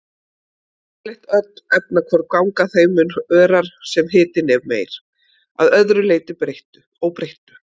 Yfirleitt öll efnahvörf ganga þeim mun örar sem hitinn er meiri, að öðru óbreyttu.